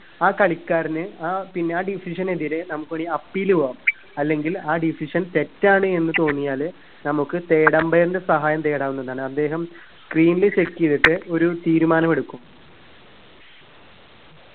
ആ കളിക്കാരന് ആ പിന്ന ആ decision എതിരെ നമുക്ക് വേണീ appeal പോവാം അല്ലെങ്കിൽ ആ decision തെറ്റാണ് എന്ന് തോന്നിയാല് നമുക്ക് third umpire ന്റെ സഹായം തേടാവുന്നതാണ് അദ്ദേഹം screen ല് check ചെയ്തിട്ട് ഒരു തീരുമാനം എടുക്കും